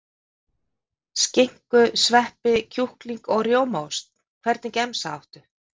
Skinku sveppi kjúkling og rjómaost Hvernig gemsa áttu?